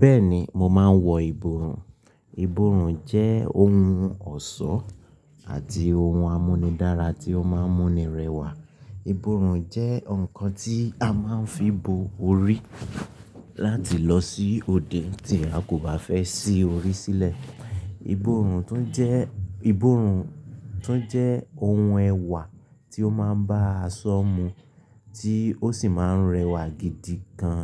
Bẹ́ẹ̀ni mo máa ń wọ ìbòòrù. Ìbòòrun jẹ́ ohun ọ̀ṣọ́ àti ohun àmúnidára tí ó máa ń mú ni rẹwà. Ìbòòrù jẹ́ ǹkan tí a máa ń fi bo orí láti lọ sí òde tí a kò bá fẹ́ sí orí sílẹ̀. Ìbòòrun tún jẹ́, ìbòòrun tún jẹ́ ohun ẹwà tí ó máa ń bá aṣọ mu tí ó sì máa ń rẹwà gidi gan.